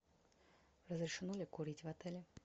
разрешено ли курить в отеле